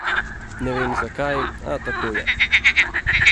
Ne vem, zakaj, a tako je.